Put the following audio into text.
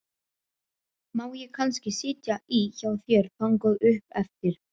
Má ég kannski sitja í hjá þér þangað upp eftir?